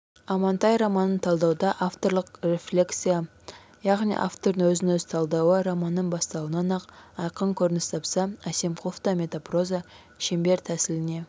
амантай романын талдауда авторлық рефлексия яғни автордың өзін-өзі талдауы романның басталуынан-ақ айқын көрініс тапса әсемқұловта метапроза шеңбер тәсіліне